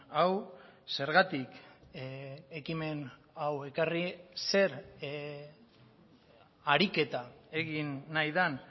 hau zergatik ekimen hau ekarri zer ariketa egin nahi den